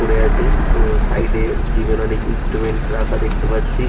পড়ে আছে ও সাইড এ জিম এর অনেক ইন্সট্রুমেন্ট রাখা দেখতে পাচ্ছি।